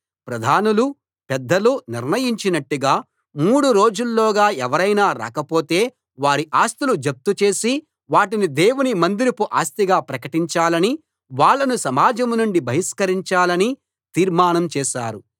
ప్రధానులు పెద్దలు నిర్ణయించినట్టుగా మూడు రోజుల్లోగా ఎవరైనా రాకపోతే వారి ఆస్తులు జప్తు చేసి వాటిని దేవుని మందిరపు ఆస్తిగా ప్రకటించాలని వాళ్ళను సమాజం నుండి బహిష్కరించాలని తీర్మానం చేశారు